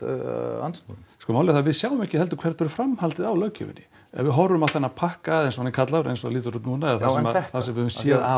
andsnúinn sko málið er það að við sjáum ekki heldur hvert verður framhaldið á löggjöfinni ef við horfum á þennan pakka eins og hann er kallaður eins og hann lítur út núna eða það sem við höfum séð af